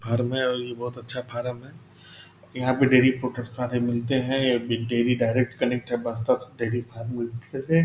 farm है और इ बहुत अच्छा फारम है यहाँ पे डेयरी प्रॉडक्ट सारे मिलते हैं डेवी डेयरी डाइरेक्ट कनेक्ट है --